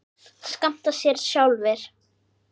skammta sér sjálfir